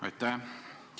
Aitäh!